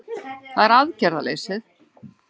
Það er aðgerðaleysið